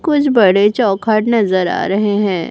कुछ बड़े चौखट नजर आ रहे हैं।